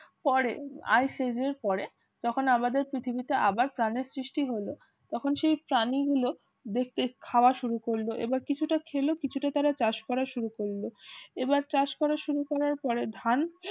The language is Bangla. পরে আইসি পরে তখন আমাদের পৃথিবীতে আবার প্রানের সৃষ্টি হল তখন সেই প্রাণীগুলো দেখতে খাওয়া শুরু করল এবার কিছুটা খেলো কিছুটা তারা চাষ করা শুরু করল এবার চাষ করা শুরু করার পরে ধান